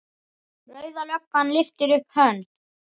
Rauða löggan lyftir upp hönd.